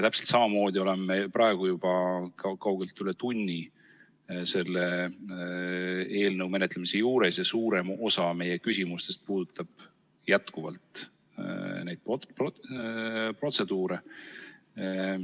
Täpselt samamoodi oleme praegu juba kaugelt üle tunni olnud selle eelnõu menetlemise juures ja suurem osa meie küsimustest puudutab jätkuvalt neid protseduure.